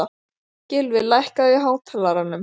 Gylfi, lækkaðu í hátalaranum.